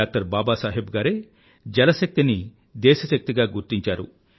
doctor Baba Saheb గారే జల శక్తిని దేశ శక్తిగా గుర్తించారు